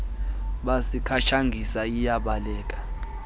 bhasi katshangisa iyabaleka